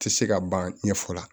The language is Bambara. Tɛ se ka ban ɲɛfɔ la